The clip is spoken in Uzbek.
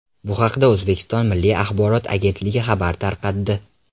Bu haqda O‘zbekiston Milliy axborot agentligi xabar tarqatdi .